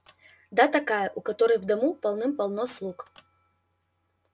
да такая у которой в дому полным-полно слуг